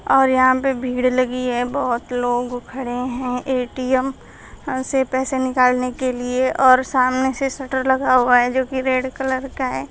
और यहां पे भीड़ लगी है बहोत लोग खड़े हैं ए_टी_एम से पैसे निकालने के लिए और सामने से शटर लगा हुआ है जो की रेड कलर का है।